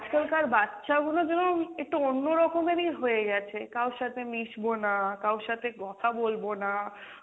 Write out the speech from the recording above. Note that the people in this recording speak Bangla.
আজকালকার বাচ্চাগুলো যেন একটু অন্য রকমেরই হয়ে গেছে, কারোর সাথে মিশবো না, কারোর সাথে কথা বলবো না